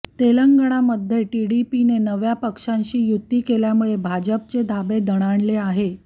तेलंगणामध्ये टीडीपीने नव्या पक्षांशी युती केल्यामुळे भाजपचे धाबे दणाणले आहे